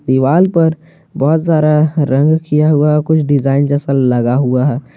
दिवाल पर बहोत सारा रंग किया हुआ है कुछ डिजाइन जैसा लगा हुआ हैं।